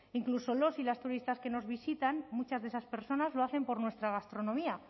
incluso los y las turistas que nos visitan muchas de esas personas lo hacen por nuestra gastronomía